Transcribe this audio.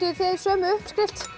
þið sömu uppskrift